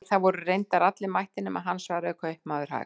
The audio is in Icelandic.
Nei, það voru reyndar allir mættir nema hann, svaraði kaupmaður hægt.